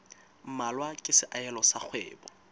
mmalwa ke seahelo sa kgwebo